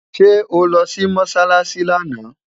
sé oló Si mosálási lànà?